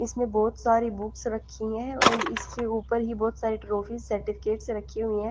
इसमें बहुत सारी बुक्स रखी हैं एण्ड और इसके ऊपर ही बहुत सारी ट्रोफी सर्टिफिकेट्स रखी हुई है--